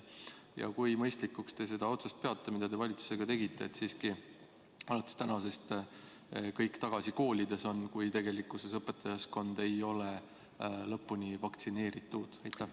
Ja kui mõistlikuks te peate otsust, mille te valitsuses tegite, et alates tänasest on kõik tagasi koolides, kuigi õpetajaskond ei ole lõpuni vaktsineeritud?